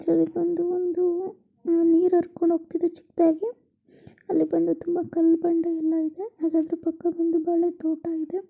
ಇದ್ರಲ್ಲಿ ಬಂದು ಒಂದೂ ಅ ನೀರ್ ಹರ್ಕೊಂಡ್ ಹೋಗ್ತಿದೆ ಚಿಕ್ಕದಾಗಿ ಅಲ್ಲಿ ಬಂದು ತುಂಬ ಕಾಲ್ ಬಂಡೆ ಎಲ್ಲ ಇದೆ ಹಾಗ್ ಅದ್ರ ಪಕ್ಕ ಬಂದು ಬಾಳೆ ತೋಟ ಇದೆ.